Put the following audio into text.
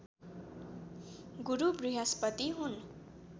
गुरु बृहस्पति हुन्